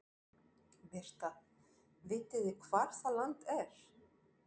Birta: Vitið þið hvar það land er?